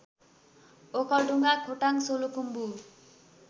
Okhaldhunga Khotang Solukhumbu